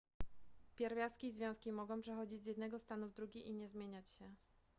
pierwiastki i związki mogą przechodzić z jednego stanu w drugi i nie zmieniać się